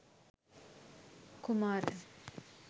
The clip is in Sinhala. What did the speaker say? kumara